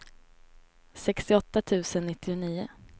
sextioåtta tusen nittionio